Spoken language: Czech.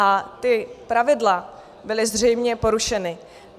A ta pravidla byla zřejmě porušena.